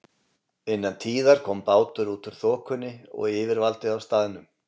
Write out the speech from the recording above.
Innan tíðar kom bátur út úr þokunni og yfirvaldið á staðnum